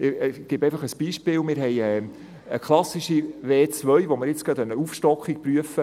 Ich gebe einfach ein Beispiel: Wir haben eine klassische W2-Zone, für welche wir gerade eine Aufstockung prüfen.